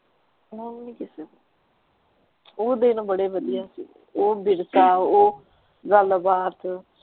ਹੁਣ ਕਿਥੇ ਉਹ ਦਿਨ ਬੜੇ ਵਧੀਆ ਸੀ ਉਹ ਉਹ ਗਲਬਾਤ।